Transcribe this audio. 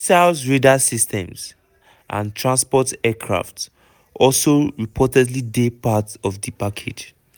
missiles radar systems and transport aircraft also reportedly dey part of di package.